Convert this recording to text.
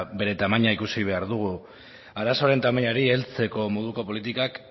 bere tamaina ikusi behar dugu arazoaren tamainari heltzeko moduko politikak